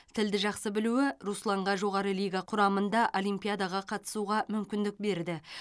тілді жақсы білуі русланға жоғары лига құрамында олимпиадаға қатысуға мүмкіндік берді